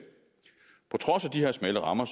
på trods af de her smalle rammer